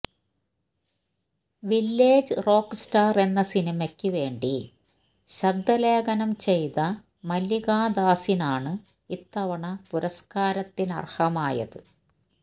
village rockstar എന്ന സിനിമക്ക് വേണ്ടി ശബ്ദലേഖനം ചെയ്ത മല്ലികാദാസിനാണ് ഇത്തവണ പുരസ്കാരത്തിനര്ഹമായത്